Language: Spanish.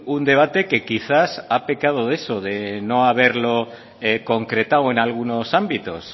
un debate que quizás ha pecado de eso de no haberlo concretado en algunos ámbitos